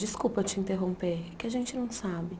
Desculpa te interromper, é que a gente não sabe.